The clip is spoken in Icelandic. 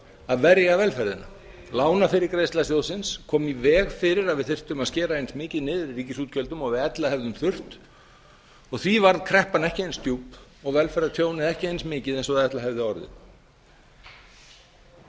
að verja velferðina lánafyrirgreiðsla sjóðsins kom í veg fyrir að við þyrftum að skera eins mikið niður í ríkisútgjöldum og við ella hefðum þurft og því varð kreppan ekki eins djúp og velferðartjónið ekki eins mikið og það ella hefði orðið samstarfið